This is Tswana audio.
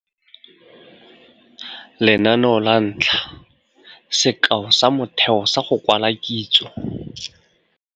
Lenaneo la 1. Sekao sa motheo sa go kwala kitso.